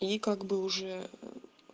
и как бы уже ээ